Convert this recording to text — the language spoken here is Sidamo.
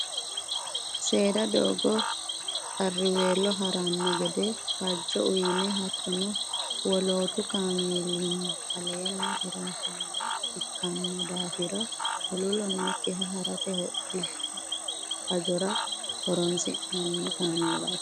Seeda doogo qarriwello harano gede fajo uyine hattono wolootu kaameelinni aleeni hirattamo ikkino daafira huluulo noyikkiha harate hodhishshu hajora horonsi'nanni kaameelati.